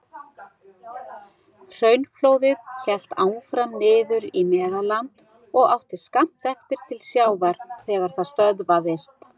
Hraunflóðið hélt áfram niður í Meðalland og átti skammt eftir til sjávar þegar það stöðvaðist.